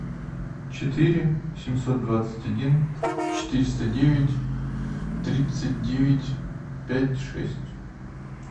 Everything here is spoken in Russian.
четыре семьсот двадцать один четыреста девять тридцать девять пять шесть